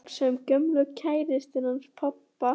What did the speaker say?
Ég var að hugsa um gömlu kærustuna hans pabba.